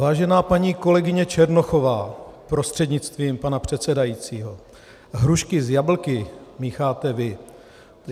Vážená paní kolegyně Černochová prostřednictvím pana předsedajícího, hrušky s jablky mícháte vy.